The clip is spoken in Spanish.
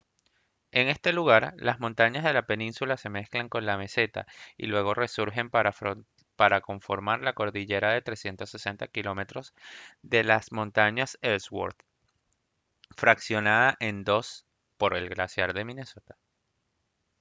en este lugar las montañas de la península se mezclan con la meseta y luego resurgen para conformar la cordillera de 360 km de las montañas ellsworth fraccionada en dos por el glaciar minnesota